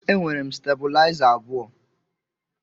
E nwere m stebulaiza abụọ.